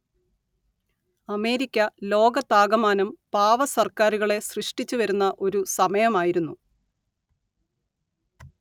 America ലോകത്താകമാനം പാവ സർക്കാരുകളെ സൃഷ്ടിച്ചു വരുന്ന ഒരു സമയമായിരുന്നു